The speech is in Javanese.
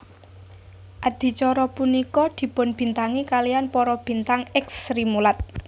Adicara punika dipunbintangi kaliyan para bintang èks Srimulat